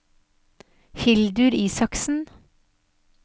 Hildur Isaksen